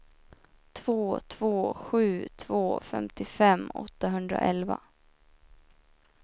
två två sju två femtiofem åttahundraelva